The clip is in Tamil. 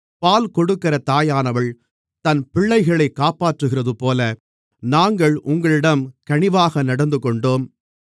பால் கொடுக்கிற தாயானவள் தன் பிள்ளைகளைக் காப்பாற்றுகிறதுபோல நாங்கள் உங்களிடம் கனிவாக நடந்துகொண்டோம்